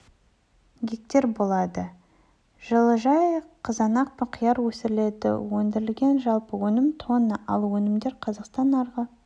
гектер болатын жылыжайда қызанақ пен қияр өсіріледі өндірілген жалпы өнім тонна ал өнімдер қазақстан нарығы